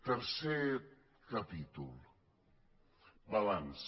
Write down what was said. tercer capítol balanç